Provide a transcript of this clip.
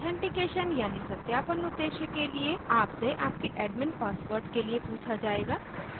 authentication यानि सत्यापन उद्देश्य के लिए आपसे आपके एडमिन पासवर्ड के लिए पूछा जायेगा